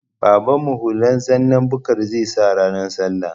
Babanmu hula zanna bukar zai sa ranar sallah